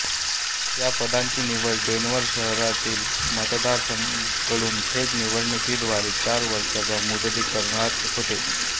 या पदाची निवड डेन्व्हर शहरातील मतदारांकडून थेट निवडणुकीद्वारे चार वर्षाच्या मुदतीकरता होते